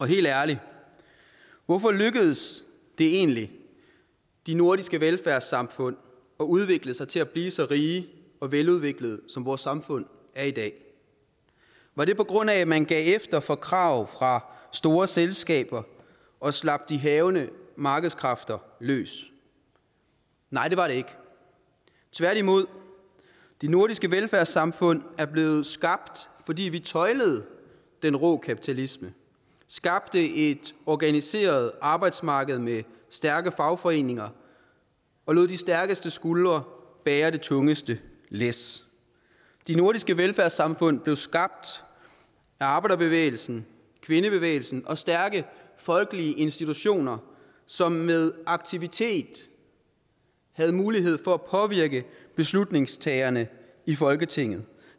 helt ærligt hvorfor lykkedes det egentlig de nordiske velfærdssamfund at udvikle sig til at blive så rige og veludviklede som vores samfund er i dag var det på grund af at man gav efter for krav fra store selskaber og slap de hærgende markedskræfter løs nej det var det ikke tværtimod de nordiske velfærdssamfund er blevet skabt fordi vi tøjlede den rå kapitalisme skabte et organiseret arbejdsmarked med stærke fagforeninger og lod de stærkeste skuldre bære det tungeste læs de nordiske velfærdssamfund blev skabt af arbejderbevægelsen kvindebevægelsen og stærke folkelige institutioner som med aktivitet havde mulighed for at påvirke beslutningstagerne i folketinget